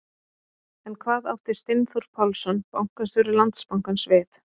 En hvað átti Steinþór Pálsson, bankastjóri Landsbankans við?